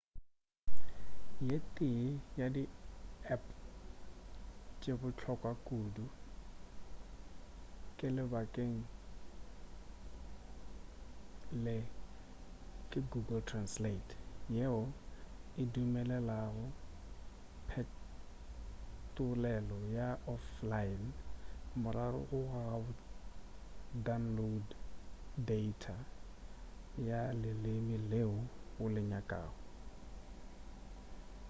ye tee ya di app tše bohlokwa kudu ke lebakeng le ke google translate yeo e dumelelago phetolelo ya offline morago ga go download data ya leleme leo o le nyakago